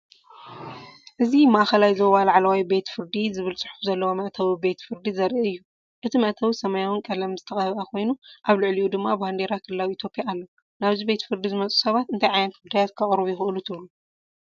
እዚ“ማእከላይ ዞባ ላዕለዋይ ቤት ፍርዲ” ዝብል ጽሑፍ ዘለዎ መእተዊ ቤት ፍርዲ ዘርኢ እዩ። እቲ መእተዊ ሰማያውን ቀለም ዝተቐብአ ኮይኑ ኣብ ልዕሊኡ ድማ ባንዴራ ክልላዊ ኢትዮጵያ ኣሎ። ናብዚ ቤት ፍርዲ ዝመጹ ሰባት እንታይ ዓይነት ጉዳያት ከቕርቡ ይኽእሉ ትብሉ?